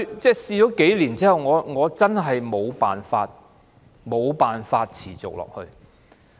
不過，嘗試數年後，我真的沒有辦法持續下去。